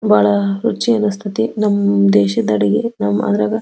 ಬಹಳ ರುಚಿ ಅಂಸ್ಥೈತಿ ನಮ್ ದೇಶದ ಅಡಿಗೆ ನಾವ್ ಮಾಡಿದಾಗ-